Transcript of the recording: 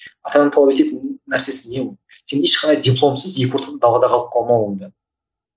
ата ана талап ететін нәрсесі не ол сен ешқандай дипломсыз екі ортада далада қалып калмауыңда